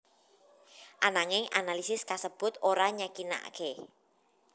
Ananging analisis kasebut ora nyakinaké